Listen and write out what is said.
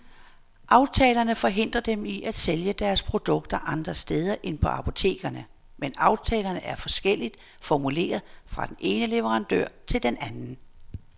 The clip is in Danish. Aftalerne forhindrer dem i at sælge deres produkter andre steder end på apotekerne, men aftalerne er forskelligt formuleret fra den ene leverandør til den anden.